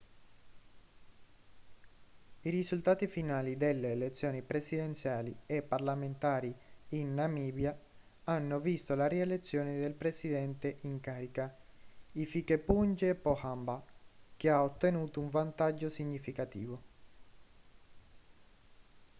i risultati finali delle elezioni presidenziali e parlamentari in namibia hanno visto la rielezione del presidente in carica hifikepunye pohamba che ha ottenuto un vantaggio significativo